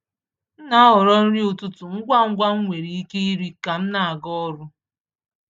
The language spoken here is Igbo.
M na-ahọrọ nri ụtụtụ ngwa ngwa m nwere ike iri ka m na-aga ọrụ.